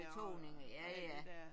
Betoninger ja ja